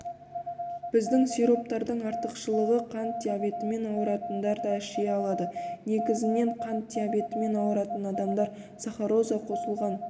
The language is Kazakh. біздің сироптардың артықшылығы қант диабетімен ауыратындар да іше алады негізінен қант диабетімен ауыратын адамдар сахароза қосылған